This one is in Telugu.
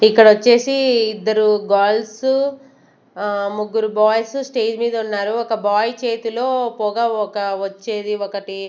ఇక్కడ ఒచ్చేసి ఇద్దరు గర్ల్స్ ఆహ్ ముగ్గురు బాయ్స్ స్టేజ్ మీద ఉన్నారు ఒక బాయ్ చేతిలో పొగ ఒక వచ్చేది ఒకట్టి.